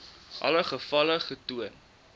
alle gevalle getoon